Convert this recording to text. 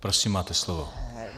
Prosím, máte slovo.